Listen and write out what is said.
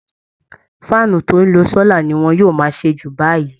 faáànù tó ń lo sólà ni wọ́n yóò máa ṣe jù báyìí